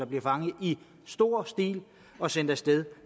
bliver fanget i stor stil og sendt afsted